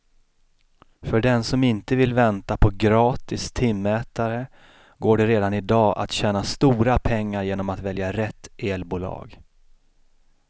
För den som inte vill vänta på gratis timmätare går det redan i dag att tjäna stora pengar genom att välja rätt elbolag.